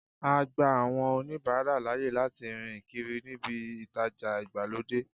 A gba àwọn oníbàárà láàyè láti rìn kiri níbí ìtajà ìgbàlódé.